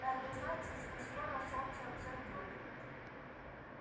это значит что скоро солнце взойдёт